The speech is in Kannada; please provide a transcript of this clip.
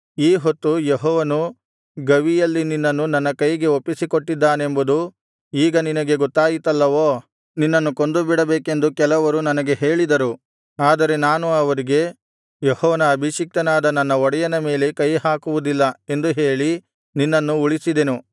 ಈ ಹೊತ್ತು ಯೆಹೋವನು ಗವಿಯಲ್ಲಿ ನಿನ್ನನ್ನು ನನ್ನ ಕೈಗೆ ಒಪ್ಪಿಸಿಕೊಟ್ಟಿದ್ದಾನೆಂಬುದು ಈಗ ನಿನಗೆ ಗೊತ್ತಾಯಿತಲ್ಲವೋ ನಿನ್ನನ್ನು ಕೊಂದುಬಿಡಬೇಕೆಂದು ಕೆಲವರು ನನಗೆ ಹೇಳಿದರು ಆದರೆ ನಾನು ಅವರಿಗೆ ಯೆಹೋವನ ಅಭಿಷಿಕ್ತನಾದ ನನ್ನ ಒಡೆಯನ ಮೇಲೆ ಕೈಹಾಕುವುದಿಲ್ಲ ಎಂದು ಹೇಳಿ ನಿನ್ನನ್ನು ಉಳಿಸಿದೆನು